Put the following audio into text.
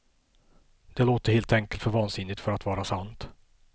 Det låter helt enkelt för vansinnigt för att vara sant.